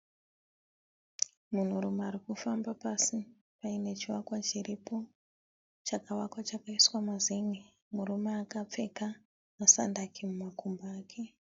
Munhurume arikufamba pasi paine chivakwa chiripo, chakavakwa chakaiswa mazenge. Murume akapfeka masandaki mumakumbo ake.